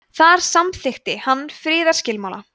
þar samþykkti hann friðarskilmála